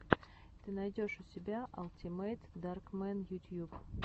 ты найдешь у себя алтимэйтдаркмэн ютьюб